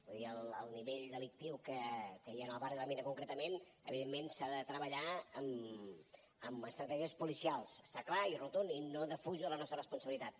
vull dir el nivell delictiu que hi ha en el barri de la mina concretament evidentment s’ha de treballar amb estratègies policials és clar i rotund i no defujo la nostra responsabilitat